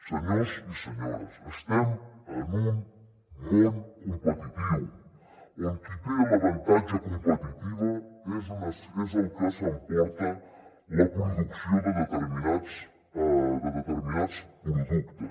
senyors i senyores estem en un món competitiu on qui té l’avantatge competitiu és el que s’emporta la producció de determinats productes